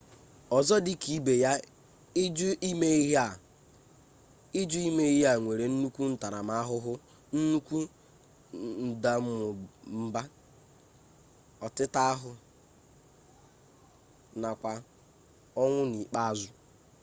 ọzọ dịka ibe ya ị jụ ime ihe a nwere nnukwu ntaramahụhụ nnukwu ndamụmba ọtịtaahụ nakwa ọnwụ n'ikpeazụ